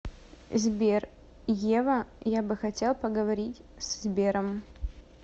сбер ева я бы хотел поговорить с сбером